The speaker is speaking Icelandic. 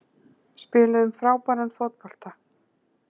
Spiluðum frábæran fótbolta